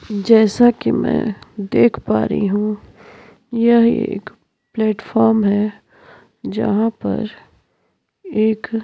जैसा कि मैं देख पा रही हूं यह एक प्लेटफॉर्म है जहां पर एक --